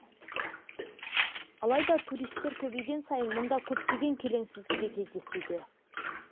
алайда туристер көбейген сайын мұнда көптеген келеңсіздік те кездесуде